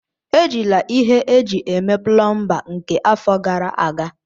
Ejila ihe eji eme plomba nke afọ gara aga!